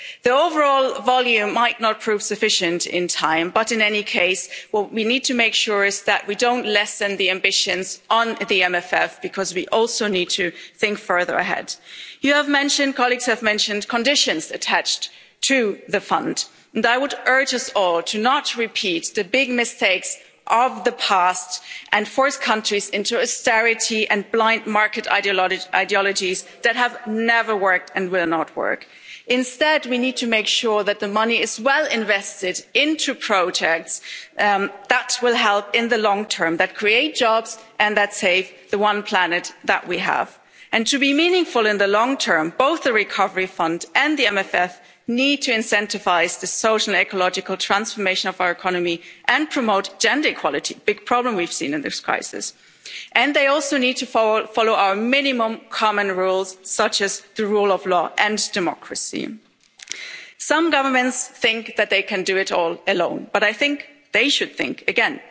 The overall volume might not prove sufficient in time, but in any case, what we need to make sure is that we don't lessen the ambitions on the MFF because we also need to think further ahead. You have mentioned colleagues have mentioned conditions attached to the fund, and I would urge us all to not repeat the big mistakes of the past and force countries into austerity and blind market ideologies that have never worked, and will not work. Instead, we need to make sure that the money is well invested into projects that will help in the long term, that create jobs and that save the one planet that we have. To be meaningful in the long term, both the Recovery Fund and the MFF need to incentivise the social and ecological transformation of our economy and promote gender equality a big problem we've seen in this crisis. They also need to follow our minimum common rules such as the rule of law and democracy. Some governments think that they can do it all alone, but I think they should think